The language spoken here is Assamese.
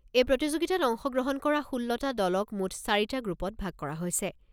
এই প্ৰতিযোগিতাত অংশ গ্ৰহণ কৰা ষোল্লটা দলক মুঠ চাৰিটা গ্ৰুপত ভাগ কৰা হৈছে।